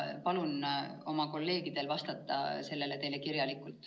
Palun oma kolleegidel vastata sellele kirjalikult.